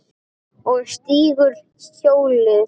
Og stígur hjólið.